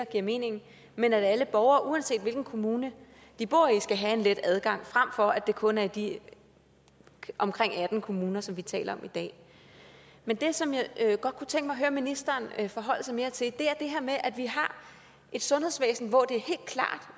giver mening men alle borgere uanset hvilken kommune de bor i skal have let adgang frem for at det kun er i de omkring atten kommuner som vi taler om i dag men det som jeg godt kunne tænke mig at høre ministeren forholde sig mere til er det her med at vi har et sundhedsvæsen hvor det